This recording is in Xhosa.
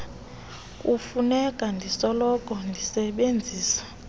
kufuneka ndisoloko ndisebenzisa